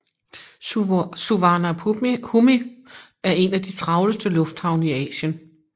Suvarnabhumi er en af de travleste lufthavne i Asien